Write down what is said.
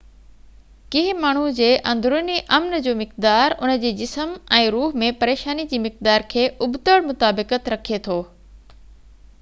ڪنهن ماڻهو جي اندروني امن جو مقدار ان جي جسم ۽ روح ۾ پريشاني جي مقدار کي ابتڙ مطابقت رکي ٿو